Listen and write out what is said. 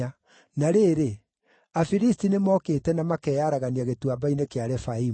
Na rĩrĩ, Afilisti nĩmokĩte na makeyaragania gĩtuamba-inĩ kĩa Refaimu;